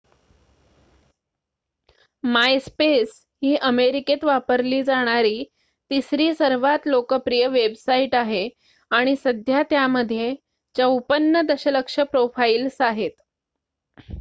MySpace ही अमेरिकेत वापरली जाणारी तिसरी सर्वात लोकप्रिय वेबसाईट आहे आणि सध्या त्यामध्ये 54 दशलक्ष प्रोफाईल्स आहेत